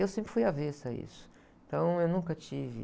Eu sempre fui avessa a isso. Então eu nunca tive